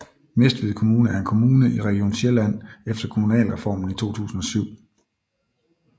Næstved Kommune er en kommune i Region Sjælland efter Kommunalreformen i 2007